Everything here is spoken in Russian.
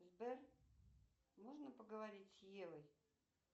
сбер можно поговорить с евой